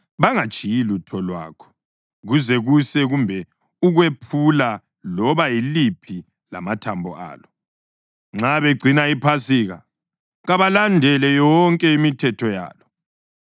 Bangatshiyi lutho lwakho kuze kuse kumbe ukwephula loba yiliphi lamathambo alo. Nxa begcina iPhasika, kabalandele yonke imithetho yalo.